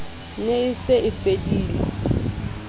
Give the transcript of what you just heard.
ne e se e fedile